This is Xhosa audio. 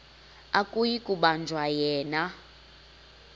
akuyi kubanjwa yena